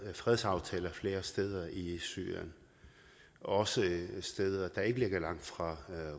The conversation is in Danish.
fredsaftaler flere steder i syrien også steder der ikke ligger langt fra